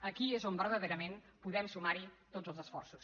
aquí es on verdaderament podem sumar hi tots els esforços